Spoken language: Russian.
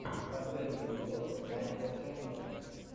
последний эпизод майкла ченнела